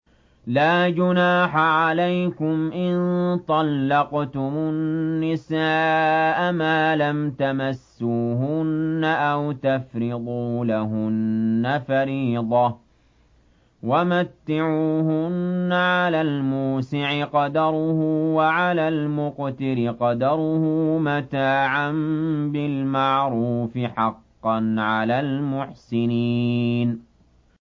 لَّا جُنَاحَ عَلَيْكُمْ إِن طَلَّقْتُمُ النِّسَاءَ مَا لَمْ تَمَسُّوهُنَّ أَوْ تَفْرِضُوا لَهُنَّ فَرِيضَةً ۚ وَمَتِّعُوهُنَّ عَلَى الْمُوسِعِ قَدَرُهُ وَعَلَى الْمُقْتِرِ قَدَرُهُ مَتَاعًا بِالْمَعْرُوفِ ۖ حَقًّا عَلَى الْمُحْسِنِينَ